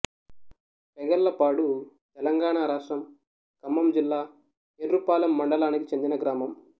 పెగల్లపాడుతెలంగాణ రాష్ట్రం ఖమ్మం జిల్లా ఎర్రుపాలెం మండలానికి చెందిన గ్రామం